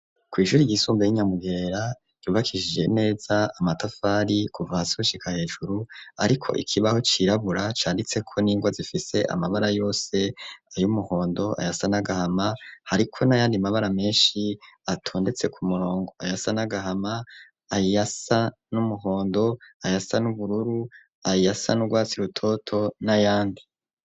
Ku ishuri ryisumba ryi Nyamugerera ryubakishije neza amatafari kuva hasi gushika hejuru ariko ikibaho cirabura canditseko n'ingwa zifise amabara yose ayumuhondo ayasa n'agahama hariko n'ayandi mabara meshi atondetse ku murongo ayasa n'agahama ayasa n'umuhondo ayasa n'ubururu ayasa n'urwatsi rutoto n'ayandi.